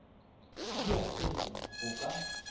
di a hwetšwa go ka